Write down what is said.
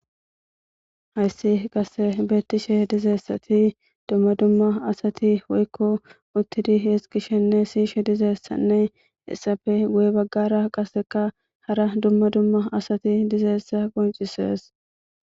hayssi qase beettishe dizayssati dumma dumma asati woykko uttidi hees gishenne siishe dizeessanne essafe go7e baggara qaseka hara dumma dumma asati dizayessa qoncisees